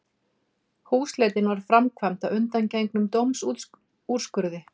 Húsleitin var framkvæmd að undangengnum dómsúrskurði